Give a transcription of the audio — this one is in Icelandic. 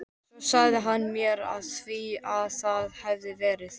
Svo sagði hann mér frá því að það hefði verið